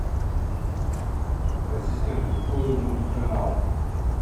ассистент открой мульт канал